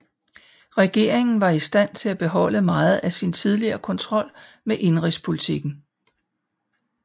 Regeringen var i stand til at beholde meget af sin tidligere kontrol med indenrigspolitikken